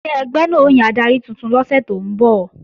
Ṣé ẹgbẹ́ náà ó yan adarí tuntun lọ́sẹ̀ tó ń bọ̀?